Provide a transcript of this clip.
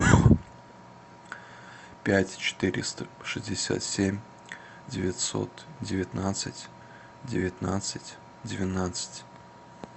пять четыреста шестьдесят семь девятьсот девятнадцать девятнадцать двенадцать